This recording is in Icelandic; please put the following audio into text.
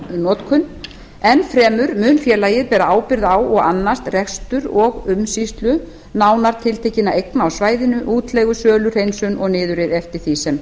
notkun enn fremur mun félagið bera ábyrgð á og annast rekstur og umsýslu nánar tiltekinna eigna á svæðinu útleigu sölu hreinsun og niðurrif eftir því sem